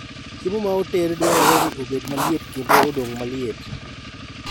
Chiemo ma oted dwarore ni obed maliet kendo odong' maliet